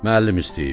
Müəllim istəyib.